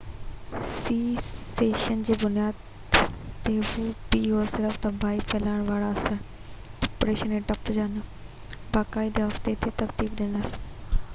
صرف تباهي ڦهلائڻ وارا اثر ڊپريشن ۽ ڊپ جا نہ باقاعدي هفتي تي ترتيب ڏنل pa سيسشن جي بنياد تي هو